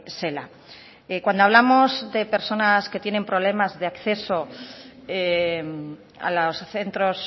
zela cuando hablamos de personas que tienen problemas de acceso a los centros